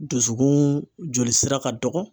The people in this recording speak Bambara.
Dusukun joli sira ka dɔgɔ.